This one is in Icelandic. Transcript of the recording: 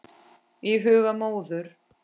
Í huga móður